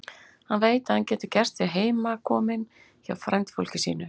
Hann veit að hann getur gert sig heimakominn hjá frændfólki sínu.